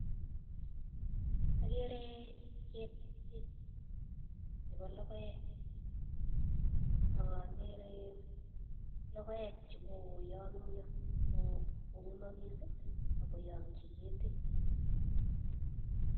Okere ketit nebo lokoek ak okere lokoek che kokoyomnyo kongemokis ak koyochi ketit.